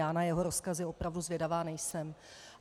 Já na jeho rozkazy opravdu zvědavá nejsem.